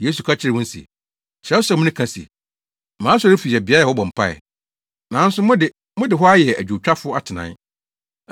Yesu ka kyerɛɛ wɔn se, “Kyerɛwsɛm no ka se, ‘Mʼasɔrefi yɛ beae a wɔbɔ mpae.’ Nanso mo de, mode hɔ ayɛ adwowtwafo atenae.”